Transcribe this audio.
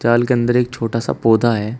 जाल के अंदर एक छोटा सा पौधा है।